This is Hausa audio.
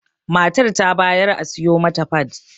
Matar ta bayar a siyo mata fad